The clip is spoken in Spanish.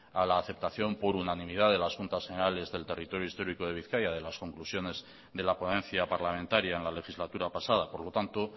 a la aceptación por unanimidad de las juntas generales del territorio histórico de bizkaia de las conclusiones de la ponencia parlamentaria en la legislatura pasada por lo tanto